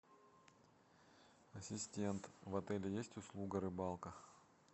ассистент в отеле есть услуга рыбалка